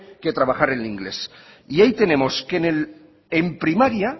que trabajar el inglés y ahí tenemos que en primaria